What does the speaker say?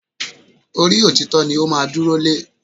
Orí òtítọ́ ni ó máa dúró lé